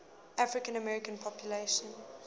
african american population